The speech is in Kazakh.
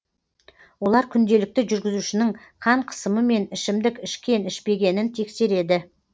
олар күнделікті жүргізушінің қан қысымы мен ішімдік ішкен ішпегенін тексереді